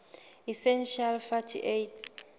essential fatty acids